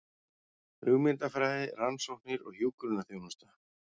Hugmyndafræði, rannsóknir og hjúkrunarþjónusta.